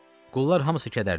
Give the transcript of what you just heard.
Qullar hamısı kədərli idi.